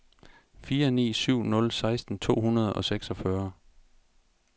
fire ni syv nul seksten to hundrede og seksogfyrre